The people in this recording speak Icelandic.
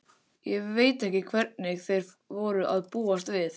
Ég veit ekki hverju þeir voru að búast við.